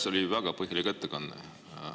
See oli väga põhjalik ettekanne.